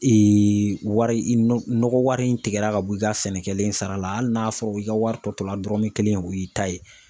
Ee wari i nɔ nɔgɔ wari in tigɛra ka bɔ i ka sɛnɛ kɛlen sara la hali n'a fɔra i ka wari tɔ la dɔrɔn kelen o y'i ta ye